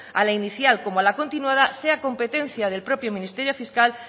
al inicial como a la continuada sea competencia del propio ministerio fiscal